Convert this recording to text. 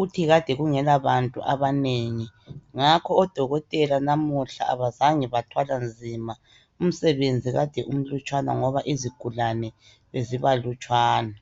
Uthi kade kungelabantu abanengi, ngakho oDokotela namuhla abazange bathwala nzima umsebenzi kade umlutshwane ngoba izigulane bezibalutshwane.